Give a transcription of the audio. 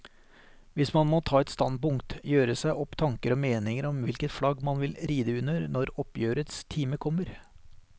Man må ta et standpunkt, gjøre seg opp tanker og meninger om hvilket flagg man vil ride under når oppgjørets time kommer.